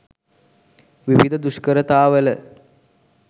විවිධ දුෂ්කරතාවල